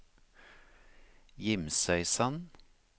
Gimsøysand